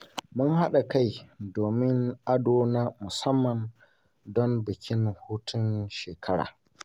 Mun haɗa kai domin yin ado na musamman don bikin hutun shekara.